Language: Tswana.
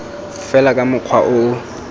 fela ka mokgwa o o